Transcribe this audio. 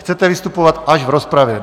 Chcete vystupovat až v rozpravě?